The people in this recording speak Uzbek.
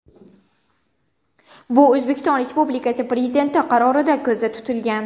Bu O‘zbekiston Respubikasi Prezidenti qarorida ko‘zda tutilgan.